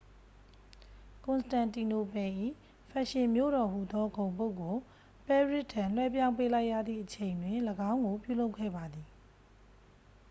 ကွန်စတန်တီနိုပယ်၏ ဖက်ရှင်မြို့တော်ဟူသောဂုဏ်ပုဒ်ကို ပဲရစ်ထံ လွှဲပြောင်းပေးလိုက်ရသည့်အချိန်တွင် ၎င်းကိုပြုလုပ်ခဲ့ပါသည်